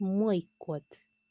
мой кот